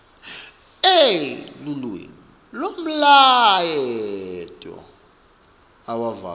elulwimi nemlayeto awuvakali